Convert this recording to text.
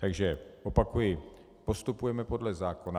Takže opakuji, postupujeme podle zákona.